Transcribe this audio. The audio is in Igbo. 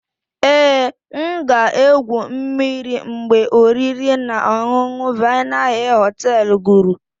Ee, M ga-egwu mmiri mgbe oriri na ọṅụṅụ Vienna hill hotel guru.